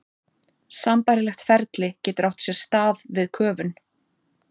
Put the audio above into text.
Sambærilegt ferli getur átt sér stað við köfun.